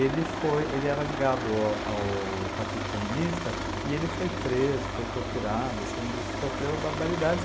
Ele foi, ele era ligado a ao Partido Comunista e ele foi preso, foi torturado, assim de, sofreu barbaridades.